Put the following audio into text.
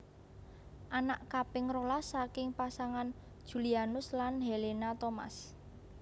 Anak kaping rolas saking pasangan Julianus lan Helena Thomas